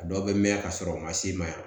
A dɔw bɛ mɛn ka sɔrɔ u ma s'i ma yan